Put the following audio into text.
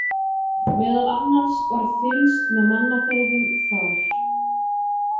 Meðal annars var fylgst með mannaferðum þar.